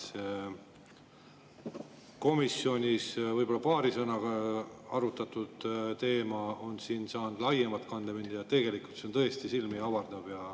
Komisjonis võib-olla paari sõnaga arutatud teema on siin saanud laiema kandepinna ja see on tõesti silmi avav.